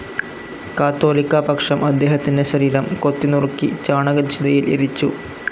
കാതോലിക്കാ പക്ഷം അദ്ദേഹത്തിൻ്റെ ശരീരം കൊത്തിനുറുക്കി ചാണകചിതയിൽ എരിച്ചു.